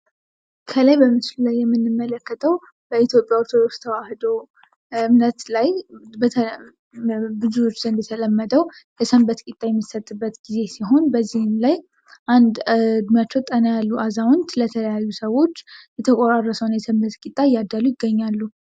ከላይ በምስሉ ላይ የምንመለከተው በኢትዮጵያ የኦርቶዶክስ ተዋህዶ እምነት ላይ በብዙዎች ዘንድ የተለመደው የሰንበት ቂጣ የሚሰጥበት ጊዜ ሲሆን በዚህም ላይ አንድ እድሜያቸው ጠና ያሉ አዛውንት ለተለያዩ ሰዎች የተቆራረሰውን የሰንበት ቂጣ እያደሉ ይገኛሉ።